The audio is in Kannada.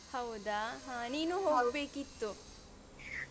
ಹೌದಾ ಹ ಹೋಗ್ಬೇಕಿತ್ತು.